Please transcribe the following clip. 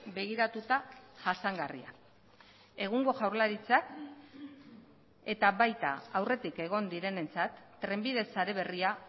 begiratuta jasangarria egungo jaurlaritzak eta baita aurretik egon direnentzat trenbide sare berria